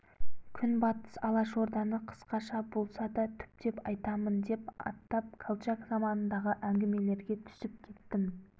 күнбатыс алашорданы қысқаша болса да түптеп айтамын деп аттап колчак заманындағы әңгімелерге түсіп кеттім